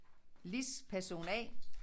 Lis person A